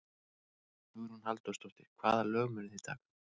Hugrún Halldórsdóttir: Hvaða lög munuð þið taka?